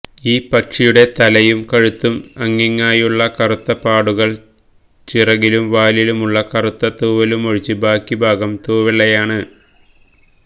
ഈ പക്ഷിയുടെ തലയും കഴുത്തും അങ്ങിങ്ങായുള്ള കറുത്ത പാടുകളും ചിറകിലും വാലിലുമുള്ള കറുത്ത തൂവലുമൊഴിച്ച് ബാക്കിഭാഗം തൂവെള്ളയാണ്